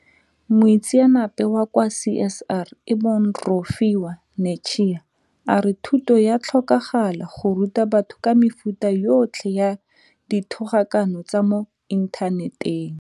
Moitseanape wa kwa CSIR e bong Rofhiwa Netshiya a re thuto ya tlhokagala go ruta batho ka mefuta yotlhe ya dithogakano tsa mo inthaneteng.